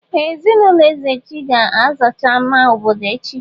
Ee! Ezinụlọ Ezeji ga-azacha àmà obodo echi.